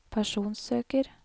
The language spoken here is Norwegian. personsøker